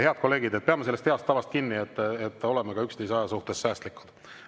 Head kolleegid, peame kinni heast tavast, et oleme ka üksteise ajaga säästlikud.